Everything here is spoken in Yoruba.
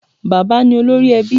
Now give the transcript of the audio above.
Bà̀bá ni olórí ẹbí